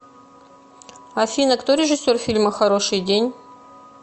афина кто режиссер фильма хороший день